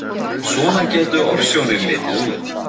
Svona gætu ofsjónir litið út.